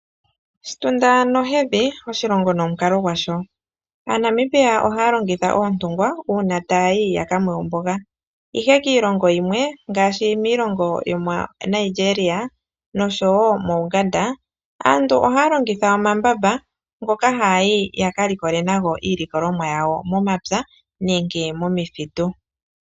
Oshitunda nohedhi, oshilongo nomukalo gwasho. AaNamibia oha ya longitha oontungwa uuna taya yi ya ka nwe omboga, ihe kiilongo yimwe ngaashi miilongo yomoNigeria nosho wo moUganda aantu ohaya longitha omambamba ngoka haya yi yaka likole nago iilikolomwa yawo momapya nenge momithitu.